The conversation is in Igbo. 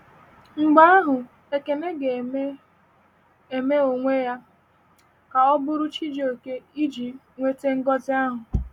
Mgbe ahụ, Ekene ga - eme - eme onwe ya ka ọ bụrụ Chijioke iji nweta ngọzi ahụ.